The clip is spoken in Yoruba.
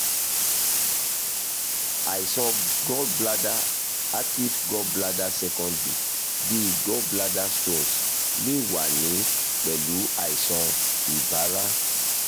àìsàn gallbladder acute gallbladder secondary (bi gallbladder stones) lè wà ní pẹ̀lú àìsàn ibàrá